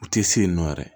U tɛ se yen nɔ yɛrɛ